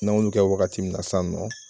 N'an y'olu kɛ wagati min na san nɔ